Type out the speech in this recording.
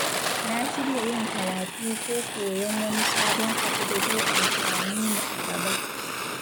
Na shirya yin karatu ko koyon wani sabon abu da zai amfane ni a gaba.